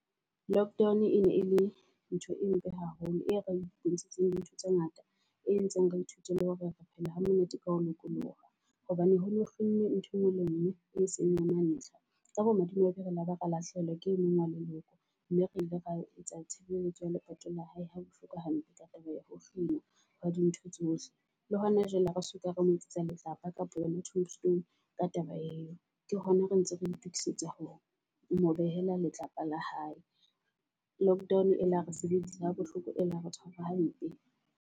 Lockdown e ne e le ntho e mpe haholo e re di ntho tse ngata. E entseng re ithute le hore re phele ha monate, ka ho lokoloha. Hobane ho ne ho kginnwe ntho engwe le ngwe e seng ya mantlha. Ka bo madimabe re laba ra lahlehelwa ke e mong wa leloko, mme re ile ra etsa tshebeletso ya lepato la hae ha bohloko hampe ka taba ya ho kginwawa di ntho tsohle. Le hona jwale, ha re soka, re mo etsetsa letlapa kapa yona tombstone ka taba eo. Ke hona re ntse re itokisetsa ho mo behela letlapa la hae. Lockdown e la re sebedisa ha bohloko, e ile ya re tshwara hampe.